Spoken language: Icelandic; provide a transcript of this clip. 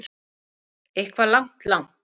Eitthvað langt, langt.